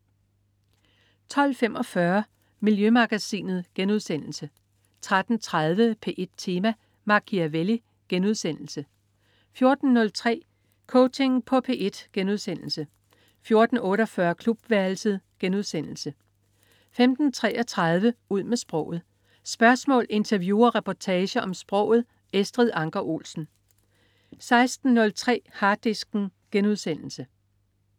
12.45 Miljømagasinet* 13.30 P1 Tema: Machiavelli* 14.03 Coaching på P1* 14.48 Klubværelset* 15.33 Ud med sproget. Spørgsmål, interview og reportager om sproget. Estrid Anker Olsen 16.03 Harddisken*